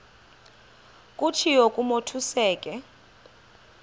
kutshiwo kumotu osuke